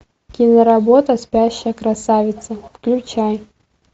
киноработа спящая красавица включай